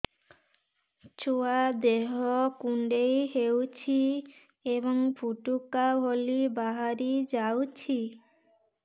ଛୁଆ ଦେହ କୁଣ୍ଡେଇ ହଉଛି ଏବଂ ଫୁଟୁକା ଭଳି ବାହାରିଯାଉଛି